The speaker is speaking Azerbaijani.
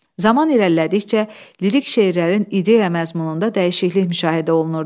Zaman irəlilədikcə lirik şeirlərin ideya məzmununda dəyişiklik müşahidə olunurdu.